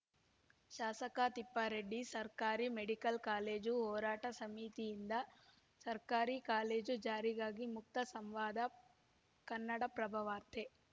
ಶಾಸಕ ತಿಪ್ಪಾರೆಡ್ಡಿ ಸರ್ಕಾರಿ medical college ಹೋರಾಟ ಸಮಿತಿಯಿಂದ ಸರ್ಕಾರಿ ಕಾಲೇಜು ಜಾರಿಗಾಗಿ ಮುಕ್ತ ಸಂವಾದ ಕನ್ನಡಪ್ರಭವಾರ್ತೆ